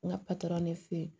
N ka ne fe yen